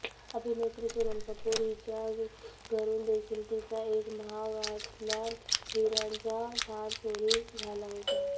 अभिनेत्री सोनम कपूर हिच्या घरून देखील तिचा एक महागातला हिऱ्यांचा हार चोरी झाला होता